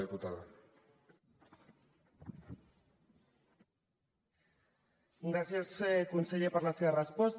gràcies conseller per la seva resposta